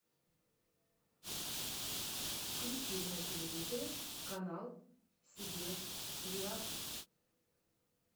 включи на телевизоре канал себе реалти